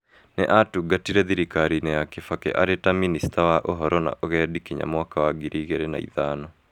Nĩ atungatĩire thirikariinĩ ya Kibaki arĩ ta Mĩnĩcta wa Ũhoro na Ũgendi kinya mwaka wa ngiri igĩrĩ na ithano